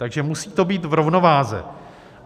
Takže to musí být v rovnováze.